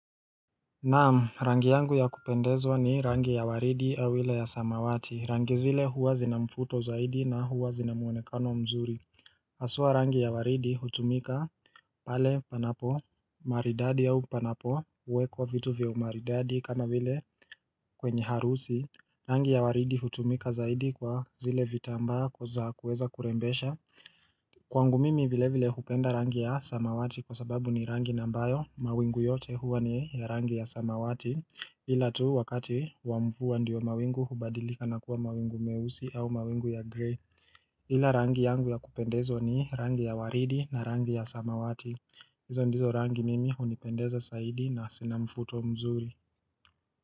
Naam rangi yangu ya kupendezwa ni rangi ya waridi au ile ya samawati rangi zile huwa zina mvuto zaidi na huwa zina muonekano mzuri haswa rangi ya waridi hutumika pale panapo maridadi au panapo wekwa vitu vya umaridadi kama vile kwenye harusi Rangi ya waridi hutumika zaidi kwa zile vitambaa za kuweza kurembesha Kwangu mimi vile vile hupenda rangi ya samawati kwa sababu ni rangi ambayo mawingu yote huwa ni ya rangi ya samawati. Ila tu wakati wa mvua ndiyo mawingu hubadilika na kuwa mawingu meusi au mawingu ya grey ila rangi yangu ya kupendezwa ni rangi ya waridi na rangi ya samawati hizo ndizo rangi mimi hunipendeza zaidi na zina mvuto mzuri.